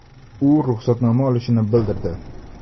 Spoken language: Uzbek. U ruxsatnoma olishini bildirdi.